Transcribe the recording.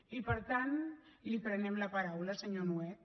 i per tant li prenem la paraula senyor nuet